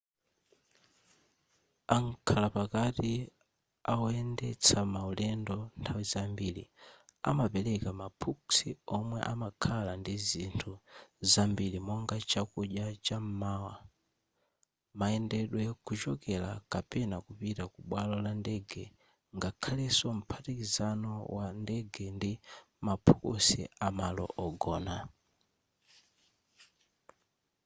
amkhala pakati awoyendetsa maulendo nthawi zambiri amapereka maphukusi omwe amakhala ndizinthu zambiri monga chakudya cham'mawa mayendedwe kuchokera kapena kupita ku bwalo la ndege ngakhaleso mphatikizano wa ndege ndi maphukusi amalo ogona